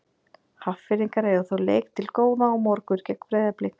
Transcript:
Hafnfirðingar eiga þó leik til góða á morgun gegn Breiðablik.